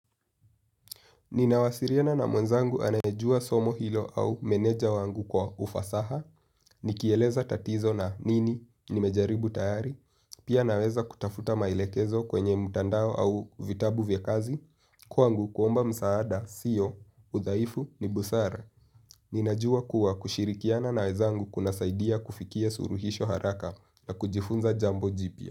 Ninawasiliana na mwenzangu anayejua somo hilo au meneja wangu kwa ufasaha, nikieleza tatizo na nini, nimejaribu tayari, pia naweza kutafuta mailekezo kwenye mtandao au vitabu vya kazi, kwangu kuomba msaada, sio, udhaifu, nibusara. Ninajua kuwa kushirikiana na wenzangu kunasaidia kufikia suluhisho haraka na kujifunza jambo jipia.